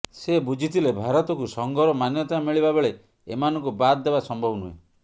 ସେ ବୁଝିଥିଲେ ଭାରତକୁ ସଂଘର ମାନ୍ୟତା ମିଳିବା ବେଳେ ଏମାନଙ୍କୁ ବାଦ ଦେବା ସମ୍ଭବ ନୁହେଁ